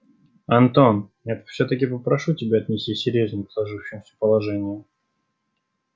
антон я всё-таки попрошу тебя отнесись серьёзнее к сложившемуся положению